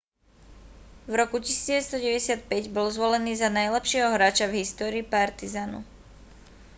v roku 1995 bol zvolený za najlepšieho hráča v histórii partizanu